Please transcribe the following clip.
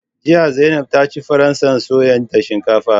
Jiya Zainab ta ci faransa soya da shinkafa